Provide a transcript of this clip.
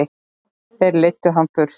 Þeir leiddu hann burt.